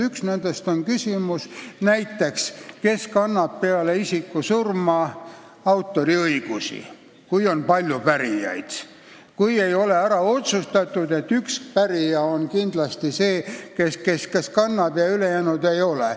Üks nendest on näiteks küsimus, kes kannab peale isiku surma autoriõigusi, kui on palju pärijaid ja kui ei ole ära otsustatud, et üks pärija on kindlasti see, kes neid kannab, ja ülejäänud ei kanna.